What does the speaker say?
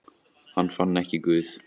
Hann fann ekki Guð.